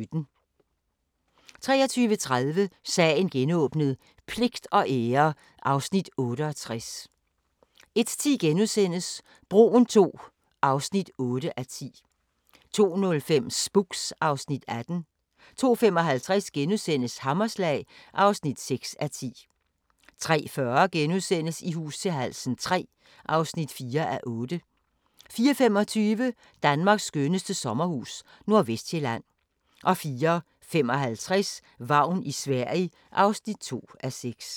23:30: Sagen genåbnet: Pligt og ære (Afs. 68) 01:10: Broen II (8:10)* 02:05: Spooks (Afs. 18) 02:55: Hammerslag (6:10)* 03:40: I hus til halsen III (4:8)* 04:25: Danmarks skønneste sommerhus – Nordvestsjælland 04:55: Vagn i Sverige (2:6)